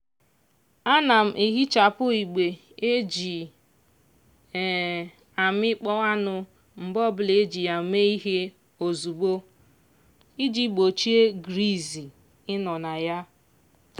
ana m ehichapu igbe e ji um amịkpọ anụ mgbe ọbụla e ji ya mee ihe ozugbo iji gbochie griz ịnọ na ya.